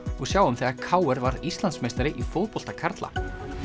og sjáum þegar k r varð Íslandsmeistari í fótbolta karla